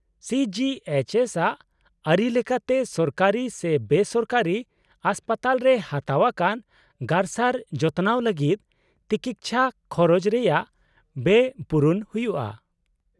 - C G H S ᱟᱜ ᱟᱹᱨᱤ ᱞᱮᱠᱟᱛᱮ ᱥᱚᱨᱠᱟᱨᱤ ᱥᱮ ᱵᱮᱥᱚᱨᱠᱟᱨᱤ ᱦᱟᱥᱯᱟᱛᱟᱞᱨᱮ ᱦᱟᱛᱟᱣ ᱟᱠᱟᱱ ᱜᱟᱨᱥᱟᱨ ᱡᱚᱛᱚᱱᱟᱣ ᱞᱟᱹᱜᱤᱫ ᱛᱤᱠᱤᱪᱪᱷᱟ ᱠᱷᱚᱨᱚᱡ ᱨᱮᱭᱟᱜ ᱵᱮᱭ ᱯᱩᱨᱚᱱ ᱦᱩᱭᱩᱜᱼᱟ ᱾